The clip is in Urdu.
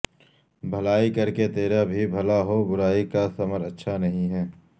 بھلائی کر کہ تیرا بھی بھلا ہو برائی کا ثمر اچھا نہیں ہے